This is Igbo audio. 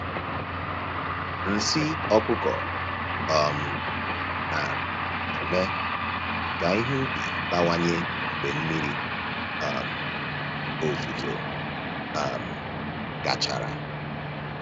Nsị ọkụkọ um na-eme ka ihe ubi bawanye mgbe mmiri um ozuzo um gachara.